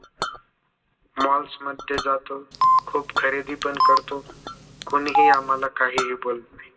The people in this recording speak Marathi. malls मध्ये जातो खरेदी पण करतो. कुणी ही आम्हाला का ही बोलत नाही